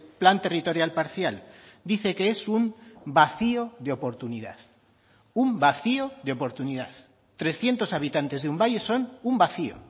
plan territorial parcial dice que es un vacío de oportunidad un vacío de oportunidad trescientos habitantes de un valle son un vacío